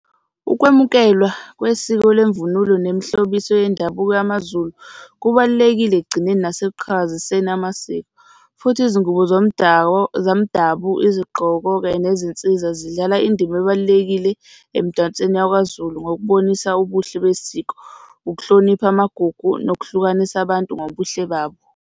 Ukwemukelwa kwesiko lwemvunulo nemihlobiso yendabuko yamaZulu kubalulekile ekugcineni nasekuqhakaziseni amasiko, futhi izingubo zomdabu, izigqoko kanye nezinsiza zidlala indima ebalulekile emdansweni yakwaZulu ngokubonisa ubuhle besiko, ukuhlonipha amagugu nokuhlukanisa abantu ngobuhle babo.